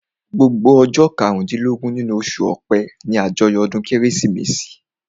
Gbogbo ọjọ́ karùn-dín-lọ́gbọ̀n nínú oṣù ọpẹ́ ní àjọyọ̀ ọdún kérésìmesì